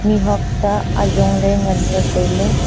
mihuak ta ajong ley nganley tailey.